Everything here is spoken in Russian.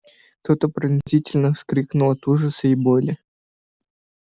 кто-то пронзительно вскрикнул от ужаса и боли